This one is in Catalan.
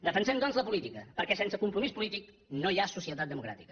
defensem doncs la política perquè sense compromís polític no hi ha societat democràtica